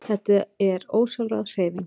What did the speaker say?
Þetta er ósjálfráð hreyfing.